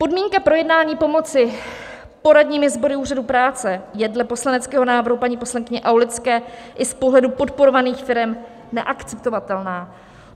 Podmínka projednání pomoci poradními sbory úřadů práce je dle poslaneckého návrhu paní poslankyně Aulické i z pohledu podporovaných firem neakceptovatelná.